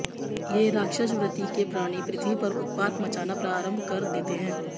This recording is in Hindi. ये राक्षस वृत्ति के प्राणी पृथ्वी पर उत्पात मचाना आरम्भ कर देते हैं